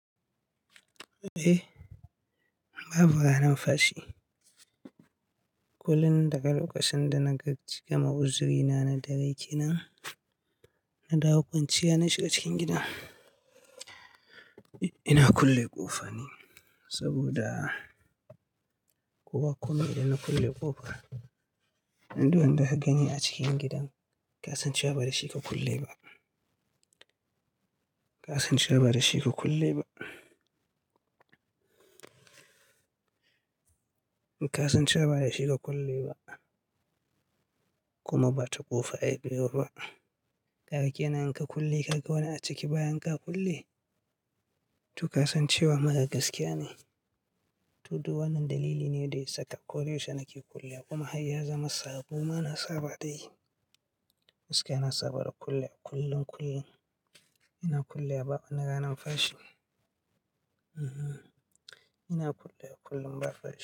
Eh, babu ranan fashi. Kullum daga lokacin da na ga gama uzrina na dare kenan, na dawo kwanciya na shiga cikin gidan. Ina kulle ƙofa ne saboda ko ba kome idan na kulle ƙofa, inda wanda ka gani a cikin gidan ka san cewa ba da shi ka kulle ba. Ka san cewa ba da shi ka kulle ba. Ka san cewa ba da shi ka kulle ba kuma ba ta ƙofa yabiyo ba. Kaga kenan in ka kulle, kaga wani a ciki bayan ka kulle, to ka san cewa marar gaskiya ne. To, duk wannan dalili ne da ya saka koda yaushe na ke kulle kuma har ya zama sabo ma na saba da yi. Gaskiya na saba da kullewa kullun kullun. Ina kullewa babu ranan fashi. Mhm, ina kullewa kullun ba fashi.